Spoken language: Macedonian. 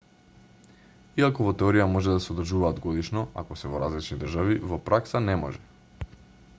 иако во теорија може да се одржуваат годишно ако се во различни држави во пракса не може